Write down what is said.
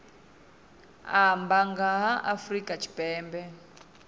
amba nga ha afrika tshipembe